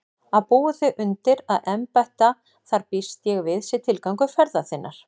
Að búa þig undir að embætta þar býst ég við sé tilgangur ferðar þinnar.